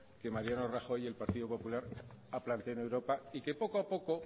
que mariano rajoy y el partido popular han planteado en europa y que poco a poco